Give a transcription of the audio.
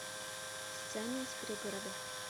сцены из пригорода